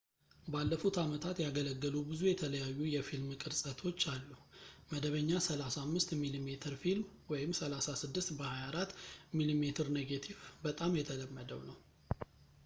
ባለፉት ዓመታት ያገለገሉ ብዙ የተለያዩ የፊልም ቅርፀቶች አሉ፡፡ መደበኛ 35 ሚሜ ፊልም 36 በ 24 ሚሜ ኔጌቲቭ በጣም የተለመደው ነው